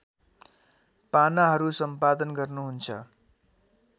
पानाहरू सम्पादन गर्नुहुन्छ